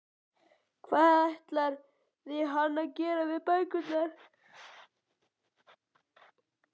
Hvað ætlaði hann að gera við bækurnar?